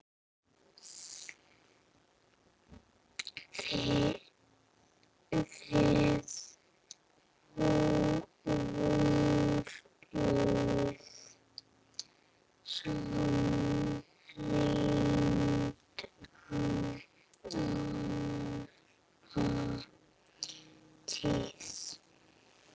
Þið voruð samrýnd alla tíð.